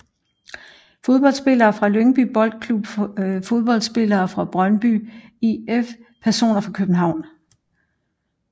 Fodboldspillere fra Lyngby Boldklub Fodboldspillere fra Brøndby IF Personer fra København